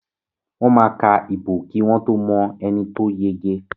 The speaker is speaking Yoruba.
Wọ́n máa ka ìbò kí wọ́n tó mọ ẹni to yege.